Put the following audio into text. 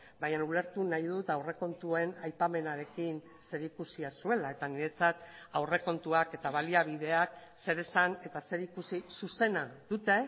baina ulertu nahi dut aurrekontuen aipamenarekin zerikusia zuela eta niretzat aurrekontuak eta baliabideak zer esan eta zer ikusi zuzena dute